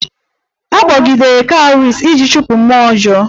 A kpọgidere Cowries iji chụpụ mmụọ ọjọọ